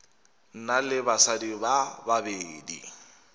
na le basadi ba babedi